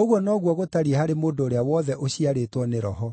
Ũguo noguo gũtariĩ harĩ mũndũ ũrĩa wothe ũciarĩtwo nĩ Roho.”